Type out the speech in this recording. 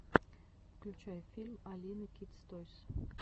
включай фильм алины кидс тойс